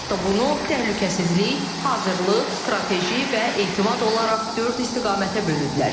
Hətta bunu təhlükəsizlik, hazırlıq, strateji və etimad olaraq dörd istiqamətə bölürlər.